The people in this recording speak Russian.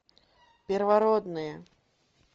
первородные